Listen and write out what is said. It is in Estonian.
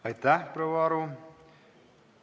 Aitäh, proua Aru!